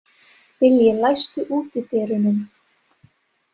Vilji, læstu útidyrunum.